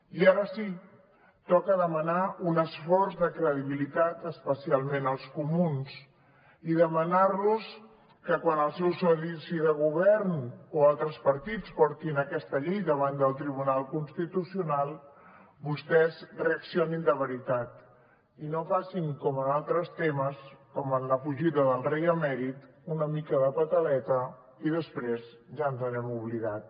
i ara sí toca demanar un esforç de credibilitat especialment als comuns i demanar los que quan el seu soci de govern o altres partits portin aquesta llei davant del tribunal constitucional vostès reaccionin de veritat i no facin com en altres temes com en la fugida del rei emèrit una mica de pataleta i després ja ens n’hem oblidat